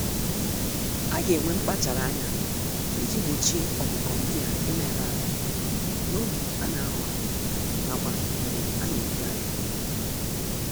Aga enwe mkpachara ányá iji gbochie ọkụkọ ndịa imerụ ahụ n'oge ana ahọ ha, n'akwa mgbe ana-ebugharị ha.